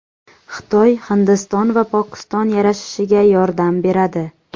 Xitoy Hindiston va Pokiston yarashishiga yordam beradi.